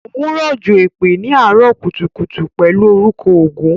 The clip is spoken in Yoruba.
Óun rọ̀jò èpè ni àárọ̀ kùtùkùtù pẹlu orúkọ ọgún.